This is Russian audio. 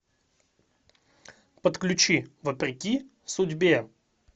подключи вопреки судьбе